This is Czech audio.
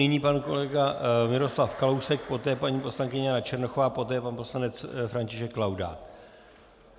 Nyní pan kolega Miroslav Kalousek, poté paní poslankyně Jana Černochová, poté pan poslanec František Laudát.